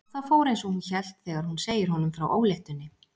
Og það fór einsog hún hélt þegar hún segir honum frá óléttunni.